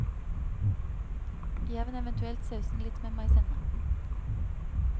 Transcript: Jevn eventuelt sausen litt med maisenna.